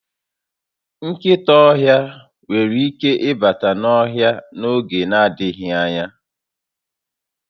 Nkịta ọhịa nwere ike ịbata n'ohịa a n'oge n'adịghị anya